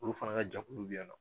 Olu fana ka jakulu bɛ yan nɔ.